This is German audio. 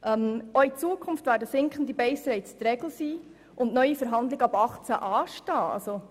Auch in Zukunft werden sinkende Baserates die Regel sein und ab dem Jahr 2018 neue Verhandlungen anstehen.